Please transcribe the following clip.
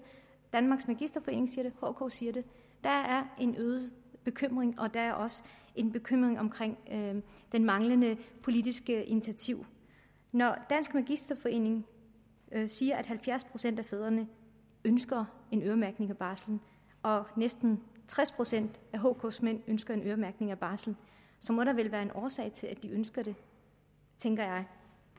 hk siger det der er en øget bekymring og der er også en bekymring omkring det manglende politiske initiativ når dansk magisterforening siger at halvfjerds procent af fædrene ønsker en øremærkning af barslen og næsten tres procent af hk’s mænd ønsker en øremærkning af barslen må der vel være en årsag til at de ønsker det tænker